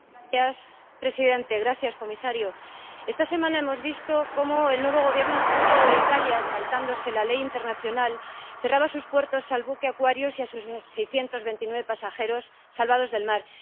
Señor presidente, señor comisario, esta semana hemos visto cómo el nuevo Gobierno xenófobo de Italia, saltándose la ley internacional, cerraba sus puertos al buque Aquarius y a sus 629 pasajeros salvados del mar.